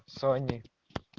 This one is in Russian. сони